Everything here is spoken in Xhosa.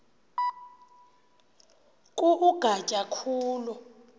ku ugatya khulu